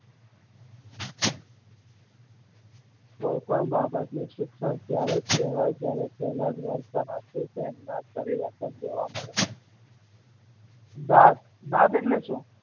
કોઈ પણ બાબત નું શિક્ષણ ત્યારે જ કેવાય જયારે પેલા જ વર્તન આપડું પરિવર્તન જોવા મળે છે દાંત દાંત એટલે શું